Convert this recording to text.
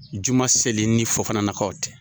Juma seli ni fofananakaw tɛ.